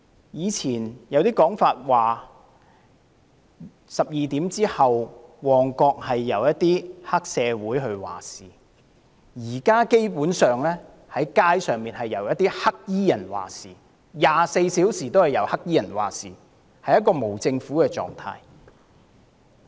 以前有說法指旺角在午夜12時後是由黑社會分子掌控一切，現時街上則是24小時均由黑衣人掌控一切，儼如無政府狀態。